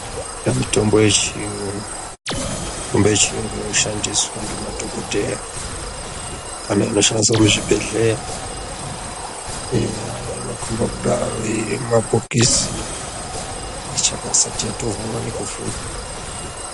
Mitombo yechiyungu. Mitombo yechiyungu inoshandiswa ngemadhokodhera, kana inoshandiswa muzvibhedhlera eya inokomba kudaro irimumabhokisi ichakasati yatovhurwa nekuvhurwa.